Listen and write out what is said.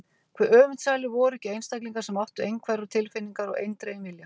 Hve öfundsælir voru ekki einstaklingar sem áttu einhverfar tilfinningar og eindreginn vilja!